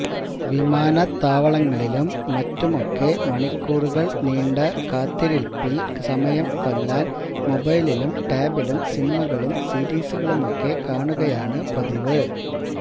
വിമാനത്താവളങ്ങളിലും മറ്റുമൊക്കെ മണിക്കൂറുകള് നീണ്ട കാത്തിരിപ്പല് സമയം കൊല്ലാന് മൊബൈലിലും ടാബിലും സിനിമകളും സീരിസുകളുമൊക്കെ കാണുകയാണ് പതിവ്